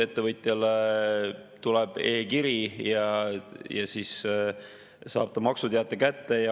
Ettevõtjale tuleb e‑kiri ja siis saab ta maksuteate kätte.